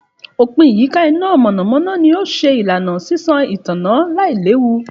Òpìn ìyíká iná mọ̀nàmọ̀nà ni ó ṣe ìlànà sísan ìtànná lailewu